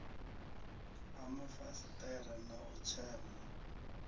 ha mafasiṱere na u tshema